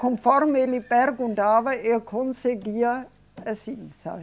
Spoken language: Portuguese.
Conforme ele perguntava, eu conseguia... Assim, sabe?